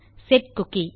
set cookie